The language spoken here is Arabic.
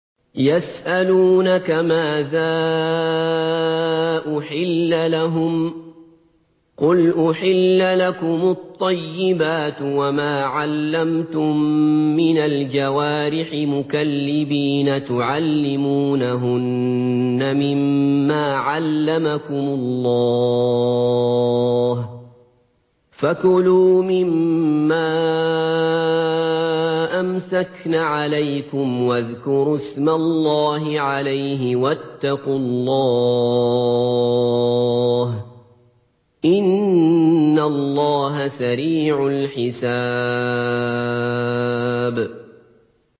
يَسْأَلُونَكَ مَاذَا أُحِلَّ لَهُمْ ۖ قُلْ أُحِلَّ لَكُمُ الطَّيِّبَاتُ ۙ وَمَا عَلَّمْتُم مِّنَ الْجَوَارِحِ مُكَلِّبِينَ تُعَلِّمُونَهُنَّ مِمَّا عَلَّمَكُمُ اللَّهُ ۖ فَكُلُوا مِمَّا أَمْسَكْنَ عَلَيْكُمْ وَاذْكُرُوا اسْمَ اللَّهِ عَلَيْهِ ۖ وَاتَّقُوا اللَّهَ ۚ إِنَّ اللَّهَ سَرِيعُ الْحِسَابِ